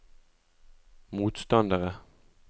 motstandere